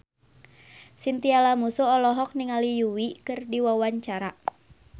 Chintya Lamusu olohok ningali Yui keur diwawancara